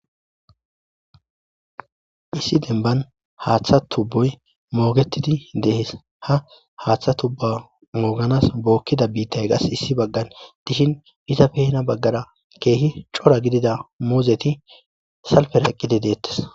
Issi denban haaththa tubboy moogetidi de'es; ha haaththa tubba mooganas bokkida biitay qas issi baggan dishin izappe heni bagaara keehi cora gidida muuzeti salfera eqqidi de'etees.